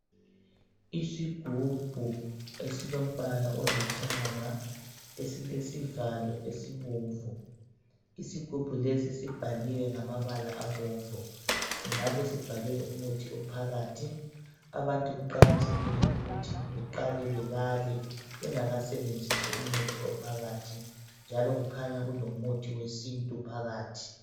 Isigubhu esilombala olithanga, esilesivalo esibomvu. Isigubhu lesi sibhaliwe ngamabala abomvu. Singabe sibhalwe umuthi ophakathi. Abantu kuqakathekile ukuthi beqale bebale. Bengakasebenzisi umuthi ophakathi, njalo kukhanya kulomuthi wesintu phakathi.